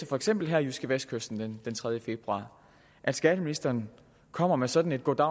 for eksempel jydskevestkysten den tredje februar at skatteministeren kommer med sådan et goddag